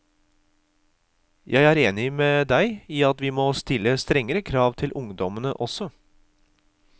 Jeg er enig med deg i at vi må stille strengere krav til ungdommene også.